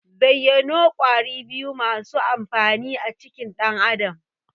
Zayyano Ƙwari biyu masu amfani a cikin dan Adam?